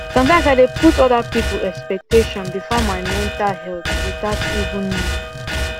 sometimes i dey put other people expectation before my mental health without even know